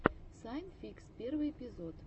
сайн фикс первый эпизод